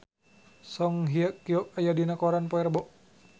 Song Hye Kyo aya dina koran poe Rebo